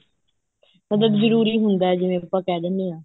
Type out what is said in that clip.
ਮਤਲਬ ਜਰੂਰੀ ਹੁੰਦਾ ਜਿਵੇਂ ਆਪਾਂ ਕਹਿ ਦਿਨੇ ਆ